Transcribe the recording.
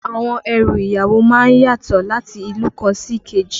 Àwọn ẹrù ìyàwó má ń yàtọ̀ láti ìlú kan sí èkejì